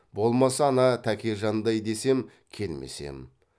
болмаса ана тәкежандай десем келмес ем